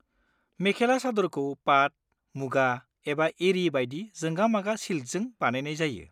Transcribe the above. मेखेला चादरखौ पात, मुगा एबा एरि बायदि जोंगा-मागा सिल्कजों बानायनाय जायो।